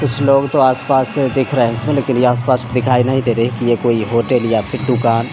कुछ लोग तो आस-पास दिख रहे है इसमे लेकिन यह आस-पास दिखाई नहीं दे रही है कि ये कोई होटल या फिर दुकान --